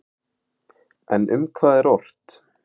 En um hvað er ort?